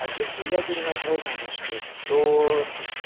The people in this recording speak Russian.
а если ядерная война начнётся то